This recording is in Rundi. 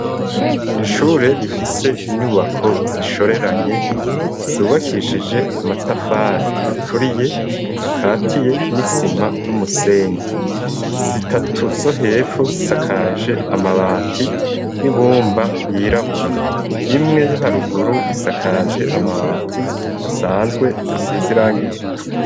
Kw'ishure rifise inyubako zishoreranye zubakishije amatafari aturiye, akatiye n'isima n'umusenyi, zitatu zo hepfo, zisakaje amabati y'ibumba yirabura, imwe yo haruguru isakaje amabati asanzwe asize irangi ritukura.